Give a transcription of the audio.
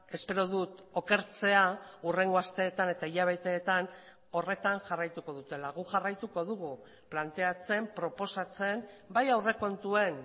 espero dut okertzea hurrengo asteetan eta hilabeteetan horretan jarraituko dutela guk jarraituko dugu planteatzen proposatzen bai aurrekontuen